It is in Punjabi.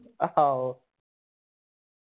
ਆਹੋ